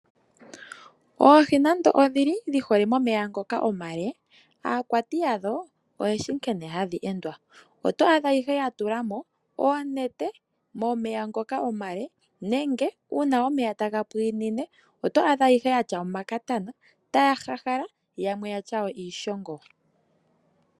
Oohi nando odhi li dhi hole momeya ngoka omale, aakwati yadho oye shi nkene hadhi endwa. Oto adha ihe ya tula mo oonete momeya ngoka omale nenge uuna omeya taga pwiinine oto adha ye na omakatana taya hahala yamwe ya tya iishogo.